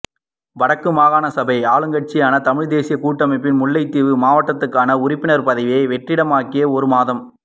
வடக்கு மாகாண சபை ஆளுங்கட்சியான தமிழ்த் தேசியக்கூட்டமைப்பின் முல்லைத்தீவு மாவட்டத்துக்கான உறுப்பினர் பதவி வெற்றிடமாகி ஒரு மாதம்